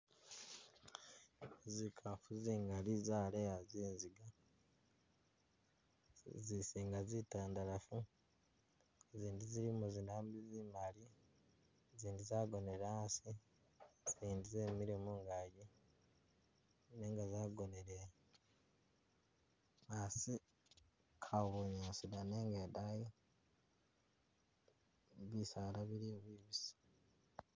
Zikafu zingali zaleya zizinga zizinga zitandalafu izindi zilimo zidambi zimali zindi zagonele asi izindi zemile mungaki nenga zagonele asi kawa bunyaasi da nenga idani bisaala biliyo bibisi.